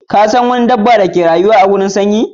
Ka San wani dabba da ka rayu a wurareasun sanyi?